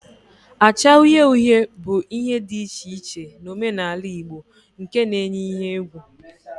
acha uhie uhie bu ihe di iche na omenala igbo nke na-enye ihe egwu